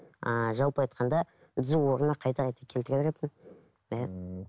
ыыы жалпы айтқанда түзу орнына қайта қайта келтіре беретін иә ммм